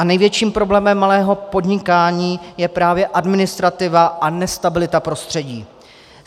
A největším problémem malého podnikání je právě administrativa a nestabilita prostředí.